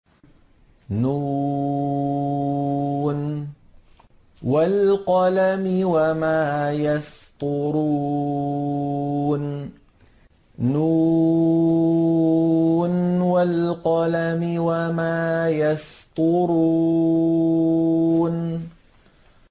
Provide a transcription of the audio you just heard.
ن ۚ وَالْقَلَمِ وَمَا يَسْطُرُونَ